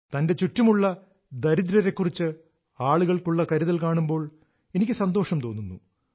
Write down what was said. തന്റെ ചുറ്റുമുള്ള ദരിദ്രരെക്കുറിച്ച് ആളുകൾക്കുള്ള കരുതൽ കാണുമ്പോൾ എനിക്ക് സന്തോഷം തോന്നുന്നു